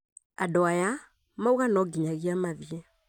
Andũ aya mauga no nginyagia mathiĩ